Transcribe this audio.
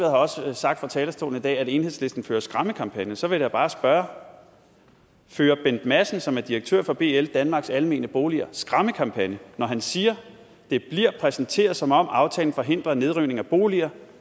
har også sagt fra talerstolen i dag at enhedslisten fører skræmmekampagne så vil jeg da bare spørge fører bent madsen som er direktør for bl danmarks almene boliger skræmmekampagne når han siger at det bliver præsenteret som om aftalen forhindrer nedrivning af boliger